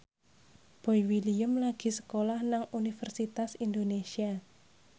Boy William lagi sekolah nang Universitas Indonesia